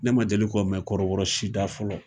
Ne ma deli k'ɔ mɛ kɔrɔbɔrɔ si da fɔlɔ.